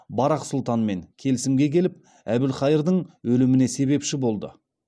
барақ сұлтанмен келісімге келіп әбілқайырдың өліміне себепші болды